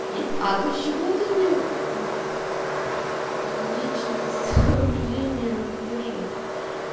не а почему ты мне в в в личные сообщения пишешь